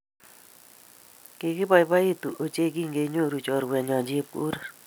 Kikiboiboitu ochei kinganyoru chorwenyu chepkorir